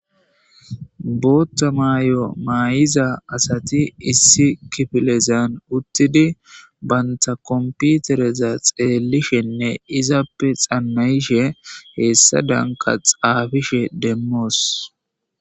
Bootha mayo mayida asati issi kifilen uttidi banta kompitereza oykidi xanna'ishe hessadanka xaafishin demmoos.